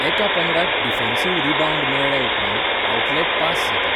एका पंगडाक defensive rebound मेळ्ळ्या उपरांत आवटलॅट पास जाता.